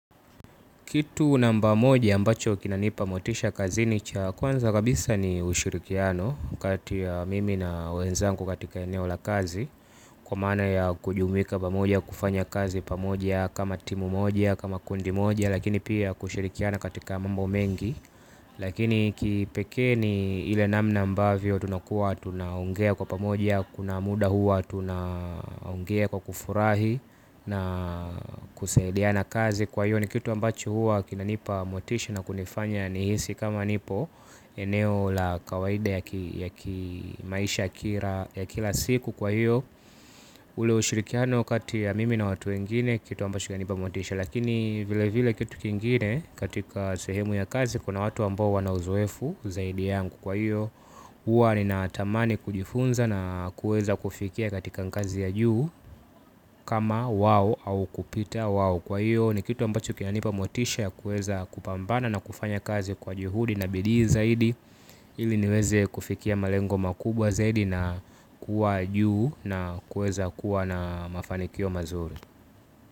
Kitu namba moja ambacho kinanipa motisha kazini cha kwanza kabisa ni ushirikiano kati ya mimi na wenzangu katika eneo la kazi kwa maana ya kujumuika pamoja kufanya kazi pamoja kama timu moja kama kundi moja lakini pia kushirikiana katika mambo mengi lakini kipekee ni ile namna ambavyo tunakua tunaongea kwa pamoja kuna muda hua tunaongea kwa kufurahi na kusaidiana kazi. Kwa hiyo ni kitu ambacho hua kinanipa motisha na kunifanya nihisi kama nipo. Eneo la kawaida ya ki, ya kimaisha ya kira, ya kila siku kwa hiyo. Ule ushirikiano kati ya mimi na watu wengine kitu ambacho kinanipa motisha. Lakini vile vile kitu kingine katika sehemu ya kazi kuna watu ambao wana uzoefu zaidi yangu. Kwa hiyo hua ninatamani kujifunza na kuweza kufikia katika ngazi ya juu. Kama wao au kupita wao. Kwa hiyo ni kitu ambacho kinanipa motisha kuweza kupambana na kufanya kazi kwa juhudi na bidii zaidi. Ili niweze kufikia malengo makubwa zaidi na kuwa juu na kuweza kuwa na mafanikio mazuri.